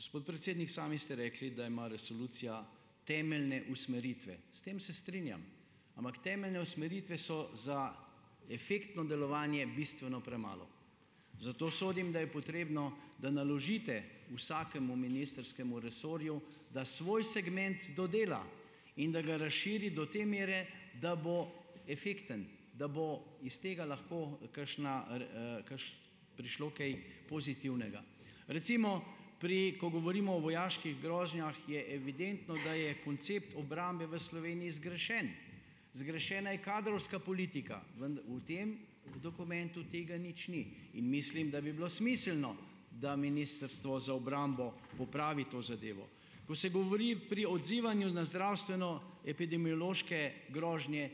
Gospod predsednik, sami ste rekli, da ima resolucija temeljne usmeritve. S tem se strinjam. Ampak temeljne usmeritve so za efektno delovanje bistveno premalo. Zato sodim, da je potrebno, da naložite vsakemu ministrskemu resorju, da svoj segment dodela in da ga razširi do te mere, da bo efekten, da bo iz tega lahko, kakšna, prišlo kaj pozitivnega. Recimo, pri ko govorimo o vojaških grožnjah, je evidentno, da je koncept obrambe v Sloveniji zgrešen. Zgrešena je kadrovska politika. v tem dokumentu tega nič ni. In mislim, da bi bilo smiselno, da Ministrstvo za obrambo popravi to zadevo. Ko se govori pri odzivanju na zdravstveno- epidemiološke grožnje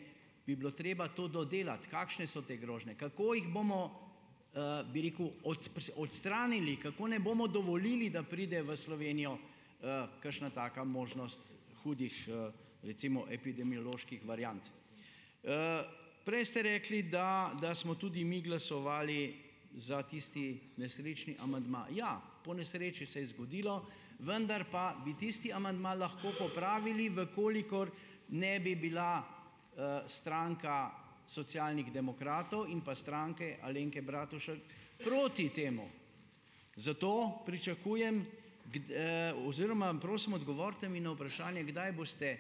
bi bilo treba to dodelati. Kakšne so te grožnje? Kako jih bomo, bi rekel, odstranili? Kako ne bomo dovolili, da pride v Slovenijo, kakšna taka možnost hudih, recimo, epidemioloških variant? Prej ste rekli, da da smo tudi mi glasovali za tisti nesrečni amandma. Ja, ponesreči se je zgodilo. Vendar pa bi tisti amandma lahko popravili, v kolikor ne bi bila, stranka Socialnih demokratov in pa Stranke Alenke Bratušek proti temu. Zato pričakujem oziroma, prosim, odgovorite mi na vprašanje, kdaj boste,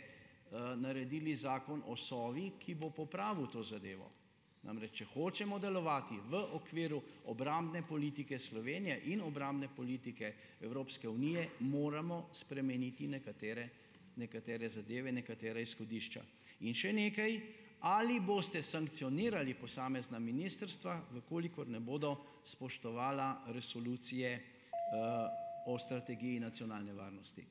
naredili Zakon o Sovi, ki bo popravil to zadevo. Namreč, če hočemo delovati v okviru obrambne politike Slovenije in obrambne politike Evropske unije, moramo spremeniti nekatere nekatere zadeve, nekatera izhodišča. In še nekaj, ali boste sankcionirali posamezna ministrstva, v kolikor ne bodo spoštovala resolucije, o strategiji nacionalne varnosti?